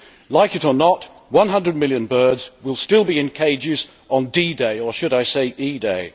Like it or not, 100 million birds will still be in cages on D day or should I say E day?